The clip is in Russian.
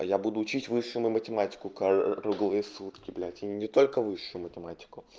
я буду учить высшую математику круглые сутки блядь и не только высшую математику